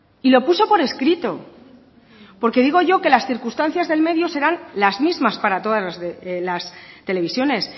y lo puso por escrito porque digo yo que las circunstancias del medio serán las mismas para todas las televisiones